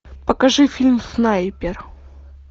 покажи фильм снайпер